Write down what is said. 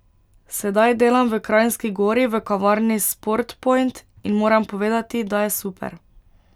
Sedaj delam v Kranjski Gori v kavarni Sport point in moram povedati, da je super.